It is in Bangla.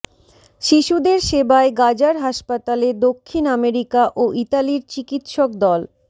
শিশুদের সেবায় গাজার হাসপাতালে দক্ষিণ আমেরিকা ও ইতালির চিকিৎসক দল